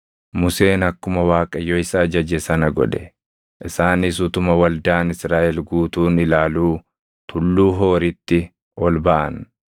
Museen akkuma Waaqayyo isa ajaje sana godhe: Isaanis utuma waldaan Israaʼel guutuun ilaaluu Tulluu Hooritti ol baʼan.